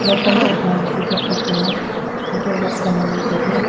etang ma dak bak daw a untoh loh pam anyi tailey.